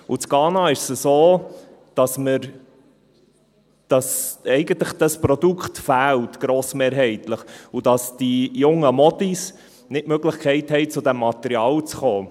In Ghana ist es so, dass dieses Produkt eigentlich grossmehrheitlich fehlt, und dass die jungen Mädchen keine Möglichkeit haben, zu diesem Material zu kommen.